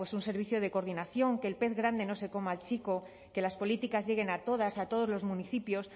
pues un servicio de coordinación que el pez grande no se coma al chico que las políticas lleguen a todas a todos los municipios